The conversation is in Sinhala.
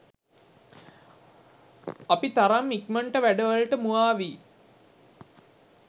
අපි තරම් ඉක්මන්ට වැඩ වලට මුවා වි